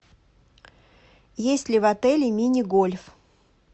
есть ли в отеле мини гольф